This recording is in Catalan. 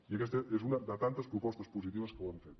i aquesta és una de tantes propostes positives que hem fet